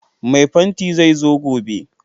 Mai fanti zai zo gobe